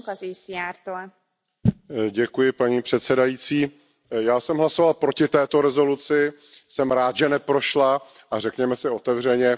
Paní předsedající, já jsem hlasoval proti této rezoluci, jsem rád, že neprošla, a řekněme si otevřeně, že to byla prostě slepá ulička.